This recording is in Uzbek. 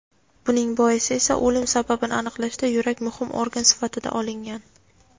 Buning boisi esa o‘lim sababini aniqlashda yurak muhim organ sifatida olingan.